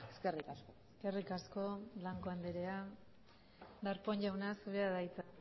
eskerrik asko eskerrik asko blanco andrea darpón jauna zurea da hitza